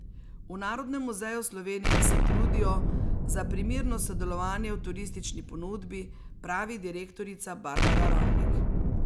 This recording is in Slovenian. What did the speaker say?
V Narodnem muzeju Slovenije se trudijo za primerno sodelovanje v turistični ponudbi, pravi direktorica Barbara Ravnik.